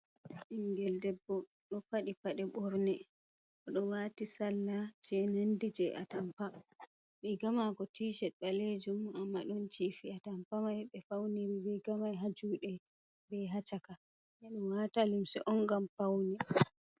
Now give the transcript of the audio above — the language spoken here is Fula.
Ɓingel debbo ɗo faɗi paɗe ɓorne, oɗo wati salla je nandi je a tampa riga mako tishet ɓalejum amma ɗon cifi ha a tampa mai ɓe fauniri rigamai ha juɗe be hacaka ɓeɗo wata limse on ngam faune.